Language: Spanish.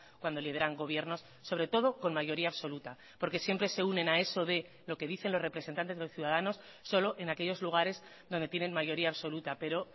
cuando lideran gobiernos sobre todo con mayoría absoluta porque siempre se unen a eso de lo que dicen los representantes de los ciudadanos solo en aquellos lugares donde tienen mayoría absoluta pero